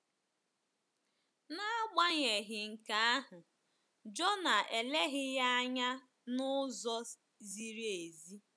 N’agbanyeghị nke ahụ, Jonah eleghị ya anya n’ụzọ ziri ezi.